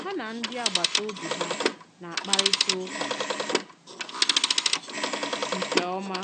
Hà na ndị agbàtà òbì ha na-àkparịta ụ̀kà nke òmá